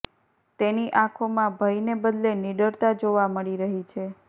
તેની આંખોમાં ભયને બદલે નિડરતા જોવા મળી રહી છે